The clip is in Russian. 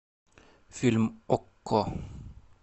фильм окко